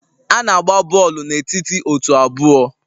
A na-agba bọọlụ n'etiti otu abụọ